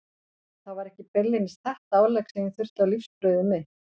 Það var ekki beinlínis þetta álegg sem ég þurfti á lífsbrauðið mitt.